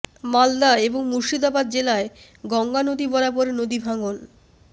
মালদা এবং মুর্শিদাবাদ জেলায় গঙ্গা নদী বরাবর নদী ভাঙ্গন